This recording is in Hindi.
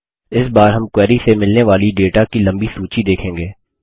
इस बार हम क्वेरी से मिलने वाली डेटा की लम्बी सूची देखेंगे